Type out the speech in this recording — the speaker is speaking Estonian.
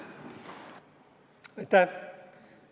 Aitäh!